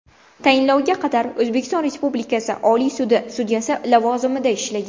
Tayinlovga qadar O‘zbekiston Respublikasi Oliy sudi sudyasi lavozimida ishlagan.